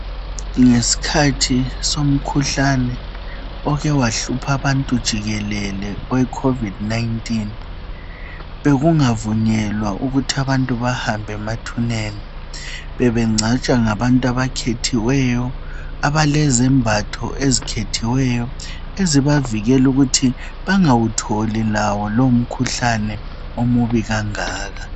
Ngesikhathi somkhuhlane oke wahlupha abantu jikelele owe COVID-19 , bekungavunyelwa ukuthi abantu bahambe emathuneni , bebengcwatshwa ngabantu abakhethiweyo abalezambatho ezikhethiweyo ezibavikela ukuthi bangawutholi lawo lowo mkhuhlane omubi kangaka